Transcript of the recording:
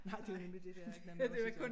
Nej det nemlig det dér man måtte gøre